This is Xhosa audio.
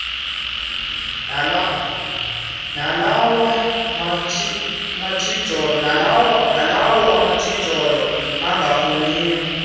nalawa matshijolo angafuni